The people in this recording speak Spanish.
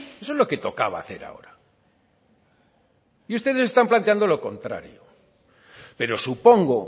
eso es lo que tocaba hacer ahora y ustedes están planteando lo contrario pero supongo